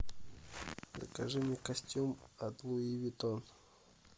закажи мне костюм от луи виттон